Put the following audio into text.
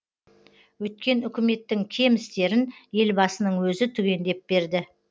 өткен үкіметтің кем істерін елбасының өзі түгендеп берді